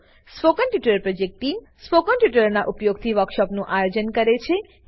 spoken tutorial project team spoken ટ્યુટોરીયલોનાં ઉપયોગથી વર્કશોપોનું આયોજન કરે છે